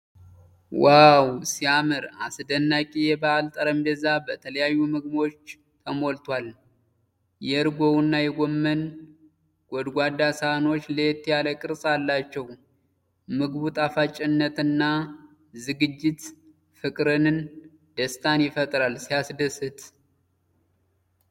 ዋው ሲያምር! አስደናቂ የበዓል ጠረጴዛ በተለያዩ ምግቦች ተሞልቷል። የእርጎውና የጎመን ጎድጓዳ ሳህኖች ለየት ያለ ቅርፅ አላቸው። የምግቡ ጣፋጭነትና ዝግጅት ፍቅርንና ደስታን ይፈጥራል። ሲያስደስት!